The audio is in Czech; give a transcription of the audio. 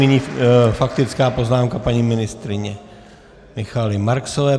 Nyní faktická poznámka paní ministryně Michaely Marksové.